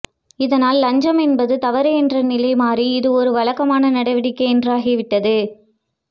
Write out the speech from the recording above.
இதனால் லஞ்சமென்பது தவறு என்ற நிலை மாறி இதுவொரு வழக்கமான நடவடிக்கை என்றாகிவிட்டது